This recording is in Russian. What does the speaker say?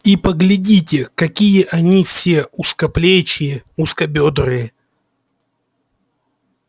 и поглядите какие они все узкоплечие узкобёдрые